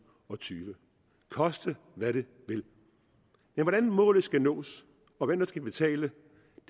og tyve koste hvad det vil men hvordan målet skal nås og hvem der skal betale